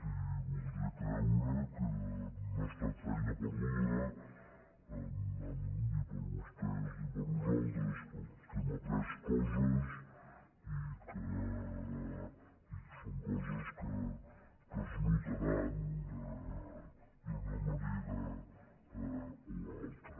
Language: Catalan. i voldria creure que no ha estat feina perduda ni per vostès ni per nosaltres que hem après coses i que són coses que es notaran d’una manera o altra